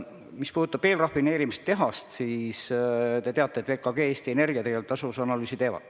Mis puudutab eelrafineerimistehast, siis te teate, et VKG ja Eesti Energia teevad selle tasuvuse analüüsi.